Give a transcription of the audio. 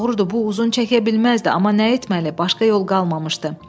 Doğrudur, bu uzun çəkə bilməzdi, amma nə etməli, başqa yol qalmamışdı.